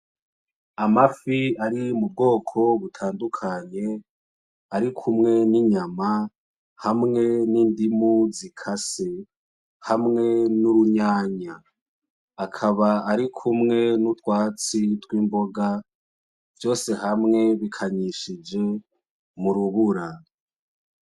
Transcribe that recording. Amafi ari mu bwoko butandukanye arikumwe n'inyama hamwe n'indimu zikase hamwe n'urunyanya. Akaba ari kumwe n'utwatsi tw'imboga, vyose hamwe bikanyishijwe mu rubura.